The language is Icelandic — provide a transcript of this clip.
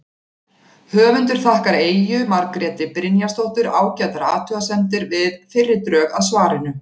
Höfundur þakkar Eyju Margréti Brynjarsdóttur ágætar athugasemdir við fyrri drög að svarinu.